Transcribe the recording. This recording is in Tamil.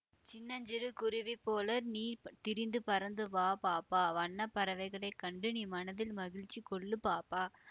சின்னஞ் சிறு குருவி போல நீ திரிந்து பறந்துவா பாப்பா வண்ண பறவைகளை கண்டு நீ மனதில் மகிழ்ச்சி கொள்ளு பாப்பா